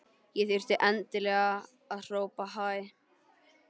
Og þurfti endilega að hrópa hæ!